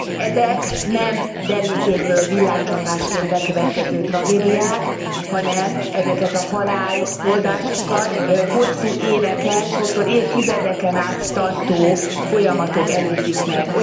Ezek nem derült égből villámcsapásként bekövetkező tragédiák, hanem ezeket a halálozásokat hosszú éveken, sokszor évtizedeken át tartó folyamatok előzik meg.